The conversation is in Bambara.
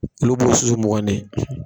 Olu b'o susu mɔgɔnin